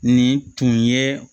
Nin tun ye